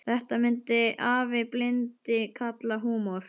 Þetta myndi afi blindi kalla húmor.